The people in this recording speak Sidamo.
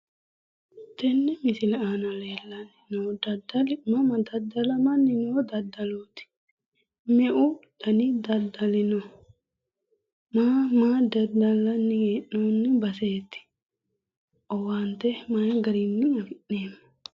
Tenne misile aana lellanni no daddali mama daddalamanni no daddalooti?me"u dani daddali no? Ma ma daddalanni hee'noonni baseeti? owaante may garinni afi'neemmo?